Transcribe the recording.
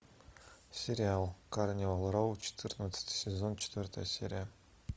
сериал карнивал роу четырнадцатый сезон четвертая серия